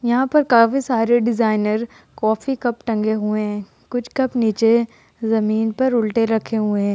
यहाँ पर काफी सारे डिजाइनर कॉफी कप टंगे हुए हैं कुछ कप नीचे जमीन पर उल्टे रखे हुए हैं।